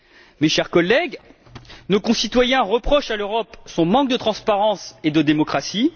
Mes chers collègues, nos concitoyens reprochent à l'Europe son manque de transparence et de démocratie.